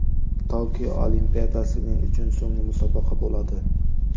Tokio Olimpiadasi men uchun so‘nggi musobaqa bo‘ladi.